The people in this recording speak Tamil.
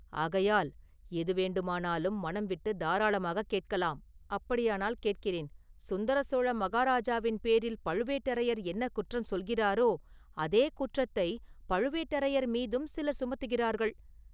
ஆகையால் எது வேண்டுமானாலும் மனம் விட்டுத் தாராளமாகக் கேட்கலாம்.” “அப்படியானால் கேட்கிறேன், சுந்தரசோழ மகாராஜாவின் பேரில் பழுவேட்டரையர் என்ன குற்றம் சொல்கிறாரோ, அதே குற்றத்தை பழுவேட்டரையர் மீதும் சிலர் சுமத்துகிறார்கள்!